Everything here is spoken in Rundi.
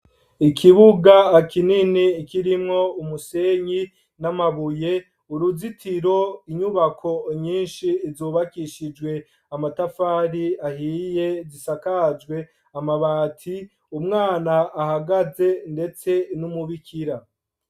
ikibuga kinini kirimwo umusenyi n'amabuye, uruzitiro , inyubako nyinshi zubakishijwe amatafari ahiye zisakajwe amabati, umwana ahagaze ndetse n'umubikira.